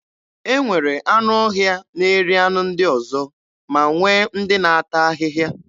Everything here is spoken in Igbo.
E nwere anụọhịa na-eri anụ ndị ọzọ ma nwee ndị na-ata ahịhịa.